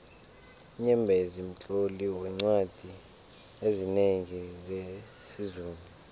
unyembezi mtloli weencwadi ezinengi zesizulu